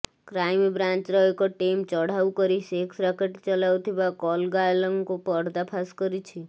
କ୍ରାଇମବ୍ରାଞ୍ଚର ଏକ ଟିମ୍ ଚଢାଉ କରି ସେକ୍ସ ରାକେଟ ଚଲାଉଥିବା କଲଗାର୍ଲଙ୍କୁ ପର୍ଦ୍ଦାଫାଶ କରିଛି